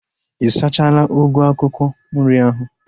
Ị sachala ugu akwụkwọ nri ahu?